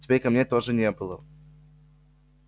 теперь камней тоже не было